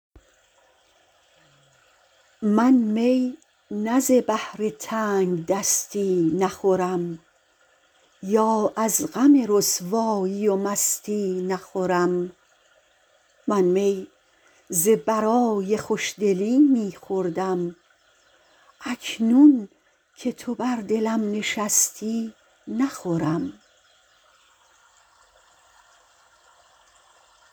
من می نه ز بهر تنگدستی نخورم یا از غم رسوایی و مستی نخورم من می ز برای خوشدلی می خوردم اکنون که تو بر دلم نشستی نخورم